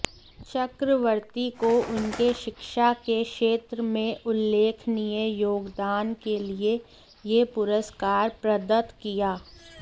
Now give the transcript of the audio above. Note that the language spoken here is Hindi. चक्रवर्ती को उनके शिक्षा के क्षेत्र में उल्लेखनीय योगदान के लिए यह पुरस्कार प्रदत्त किया